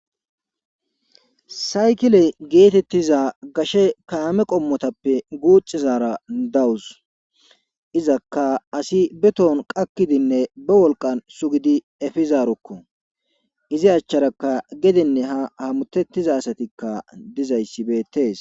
saykile geetettiza gashe kaame qommotappe guuxizara dawus izakka asi be toon qakkidinne be wolqan sugidi efizarokko izi achcharakka gedenne ha hamutettiza asatikka dizayssi beettees